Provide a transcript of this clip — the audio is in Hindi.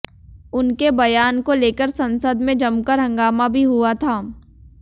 उनके बयान को लेकर संसद में जमकर हंगामा भी हुआ था